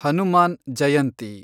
Hanuman Jayanti